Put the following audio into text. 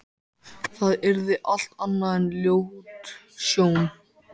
Það yrði allt annað en ljót sjón.